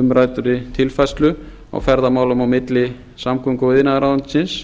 umræddri tilfærslu á ferðamálum á milli samgöngu og iðnaðarráðuneytisins